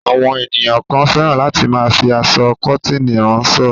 Àwọn ènìyàn kan fẹ́ràn láti máa fi aṣọ kọ́tíìnì ránṣọ.